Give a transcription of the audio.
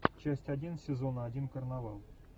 часть один сезон один карнавал